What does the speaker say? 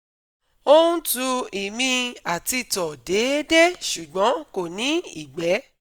Ó ń tu ìmi àti tọ̀ déédéé ṣùgbọ́n kò ní ìgbẹ́